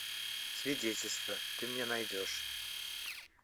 свидетельство ты мне найдешь